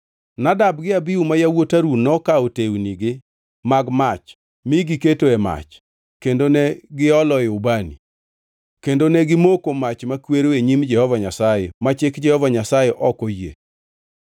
Nadab gi Abihu ma yawuot Harun nokawo tewnigi mag mach mi giketoe mach, kendo ne gioloe ubani, kendo ne gimoko makwero e nyim Jehova Nyasaye ma chik Jehova Nyasaye ok oyie.